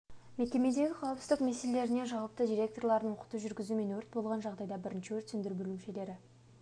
мекемедегі қауіпсіздік меселелеріне жауапты директорларын оқыту жүргізді мен өрт болған жағдайда бірінші өрт сөндіру бөлімшелері